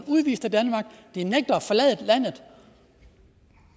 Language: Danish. udvist af danmark de nægter at forlade landet